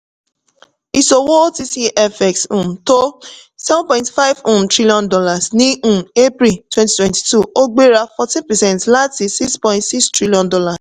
ìṣòwò otc fx um tó seven point five um trillion dollars ní um april twenty twenty two ó gbéra fourteen percent láti six point six trillion dollars